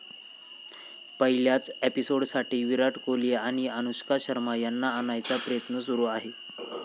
पहिल्याच एपिसोडसाठी विराट कोहली आणि अनुष्का शर्मा यांना आणायचा प्रयत्न सुरू आहे.